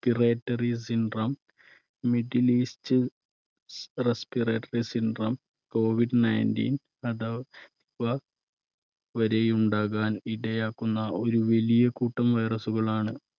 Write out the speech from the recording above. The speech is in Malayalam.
piratory syndrome, middle east respiratory syndrome, covid ninteen അഥ~വാ വരെയുണ്ടാകാൻ ഇടയാക്കുന്ന ഒരു വലിയ കൂട്ടം virus കളാണ്